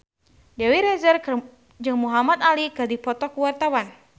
Dewi Rezer jeung Muhamad Ali keur dipoto ku wartawan